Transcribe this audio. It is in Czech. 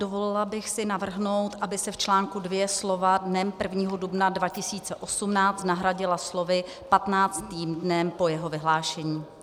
Dovolila bych si navrhnout, aby se v článku 2 slova "dnem 1. dubna 2018" nahradila slovy "15. dnem po jeho vyhlášení."